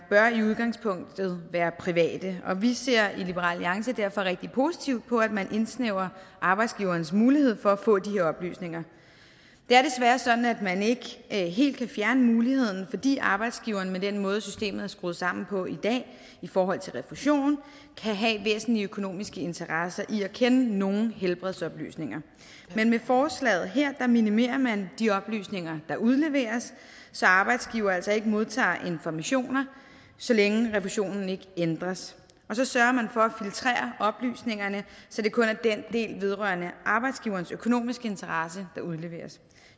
i udgangspunktet være private og vi ser i liberal alliance derfor rigtig positivt på at man indsnævrer arbejdsgiverens mulighed for at få de her oplysninger det er desværre sådan at man ikke helt kan fjerne muligheden fordi arbejdsgiveren med den måde systemet er skruet sammen på i dag i forhold til refusion kan have væsentlige økonomiske interesser i at kende nogle helbredsoplysninger men med forslaget her minimerer man de oplysninger der udleveres så arbejdsgiver altså ikke modtager informationer så længe refusionen ikke ændres og så sørger man for at filtrere oplysningerne så det kun er den del vedrørende arbejdsgiverens økonomiske interesse der udleveres